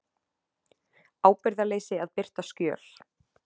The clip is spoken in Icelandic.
Ábyrgðarleysi að birta skjöl